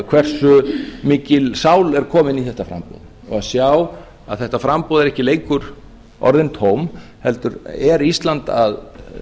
hversu mikil sál er komin í þetta framboð og sjá að þetta framboð eru ekki lengur orðin tóm heldur er ísland að